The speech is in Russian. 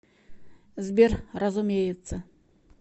сбер разумеется